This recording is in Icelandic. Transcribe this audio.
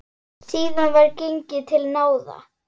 Síðan var gengið til náða.